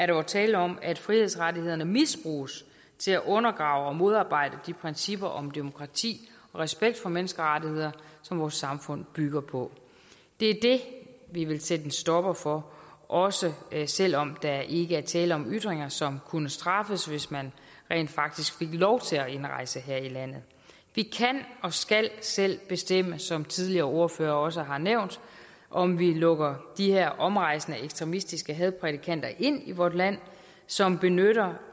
jo tale om at frihedsrettighederne misbruges til at undergrave og modarbejde de principper om demokrati og respekt for menneskerettighederne som vores samfund bygger på det er det vi vil sætte en stopper for også selv om der ikke er tale om ytringer som kunne straffes hvis man rent faktisk fik lov til at indrejse her i landet vi kan og skal selv bestemme som tidligere ordførere også har nævnt om vi lukker de her omrejsende ekstremistiske hadprædikanter ind i vort land som benytter